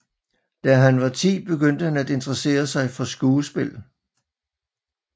Da han var 10 begyndte han at interessere sig for skuespil